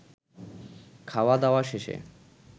খাওয়া-দাওয়া শেষে